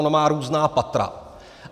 Ona má různá patra.